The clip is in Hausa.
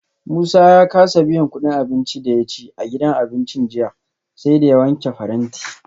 Musa ya kasa biyan kudin abincin da ya ci a gidan abincin jiya, sai da ya wanke faranti